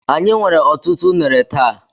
Anyị nwere ọtụtụ unere taa.